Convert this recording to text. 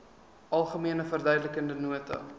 algemene verduidelikende nota